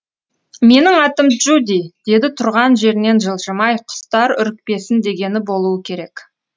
менің атым джуди деді тұрған жерінен жылжымай құстар үрікпесін дегені болуы керек